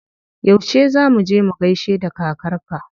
Yauce za muje mu gaishe da kakar ka?